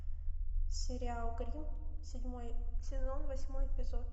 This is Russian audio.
сериал гримм седьмой сезон восьмой эпизод